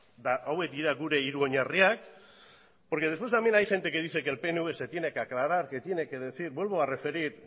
eta hauek dira gure hiru oinarriak porque después también hay gente que dice que el pnv se tiene que aclara que tiene que decir vuelvo a referir